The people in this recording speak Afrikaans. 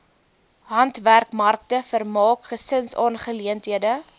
handwerkmarkte vermaak gesinsaangeleenthede